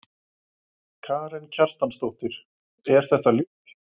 Karen Kjartansdóttir: Er þetta ljúffengt?